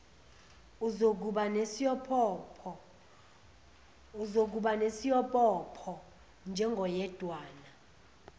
uzokuba nesiobopho njengoyedwana